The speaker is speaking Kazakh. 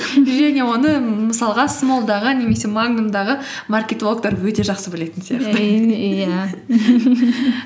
және оны мысалға смолл дағы немесе магнум дағы маркетологтар өте жақсы білетін сияқты